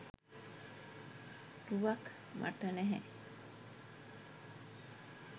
රුවක් මට නැහැ.